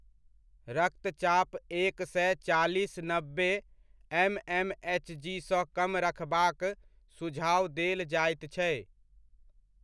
रक्तचाप एक सए चालीस नब्बे एमएम एचजीसँ कम रखबाक सुझाव देल जाइत छै।